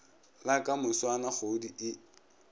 la ka moswane kgoodi e